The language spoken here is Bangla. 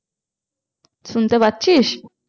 শুনতে পাচ্ছিস?